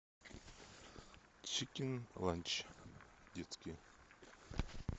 чикин ланч детский